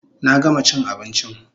Na gama chin abinchin